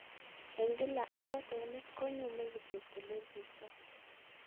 Eng' kila ng'osenik konyume kityok eleburtoi